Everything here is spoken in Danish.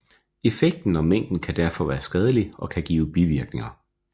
Effekten og mængden kan derfor være skadelig og kan give bivirkninger